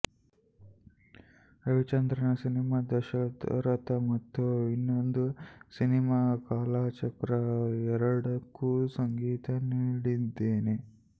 ರವಿಚಂದ್ರನ್ರ cinema Dasharatha ಮತ್ತು ಇನ್ನೊಂದು cinema Kalachakra ಎರಡಕ್ಕೂ ಸಂಗೀತ ನೀಡಿದ್ದೇನೆ